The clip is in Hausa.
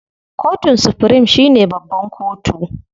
Kotun supirim shine babban kotu.